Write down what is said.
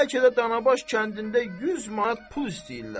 Bəlkə də Danabaş kəndində 100 manat pul istəyirlər.